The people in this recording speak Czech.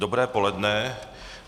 Dobré poledne.